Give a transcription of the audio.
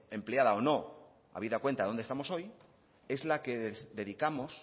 empleada o no habida cuenta dónde estamos hoy es la que dedicamos